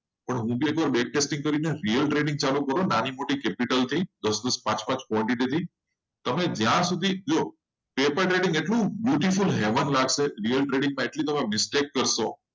બધું છોડીને નાની મોટી training ચાલુ કરો. capital થી દસ દસ પાંચ પાંચ બહુ સારી લાગશે real trading હોય.